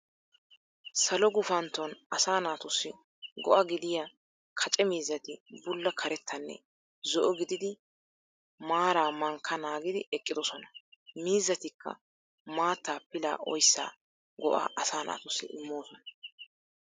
Salo guufaanton asaa naatussi go"aa gidiya kaace miizzaati buulla kaarettanne zo'o giididi maara maankka naagidi eqqidossona. Miizzatikka maatta pilaa oyissaa go"aa asaa naatuusi immosoona